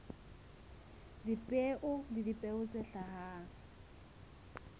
dipeo le dipeo tse hlahang